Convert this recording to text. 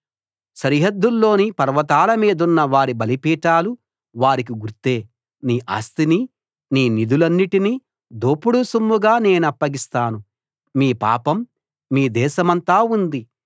సరిహద్దుల్లోని పర్వతాల మీదున్న వారి బలిపీఠాలు వారికి గుర్తే నీ ఆస్తిని నీ నిధులన్నిటిని దోపుడు సొమ్ముగా నేనప్పగిస్తాను మీ పాపం మీ దేశమంతా ఉంది